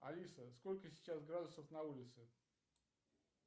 алиса сколько сейчас градусов на улице